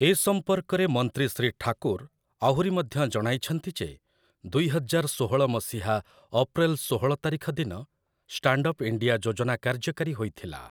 ଏ ସମ୍ପର୍କରେ ମନ୍ତ୍ରୀ ଶ୍ରୀ ଠାକୁର୍ ଆହୁରି ମଧ୍ୟ ଜଣାଇଛନ୍ତି ଯେ ଦୁଇହଜାର ଷୋହଳ ମସିହା ଅପ୍ରିଲ ଶୋହଳ ତାରିଖ ଦିନ 'ଷ୍ଟାଣ୍ଡ୍ଅପ୍ ଇଣ୍ଡିଆ' ଯୋଜନା କାର୍ଯ୍ୟକାରୀ ହୋଇଥିଲା ।